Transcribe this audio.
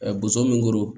boso min koro